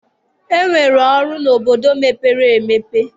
E nwere ọrụ n'obodo mepere emepe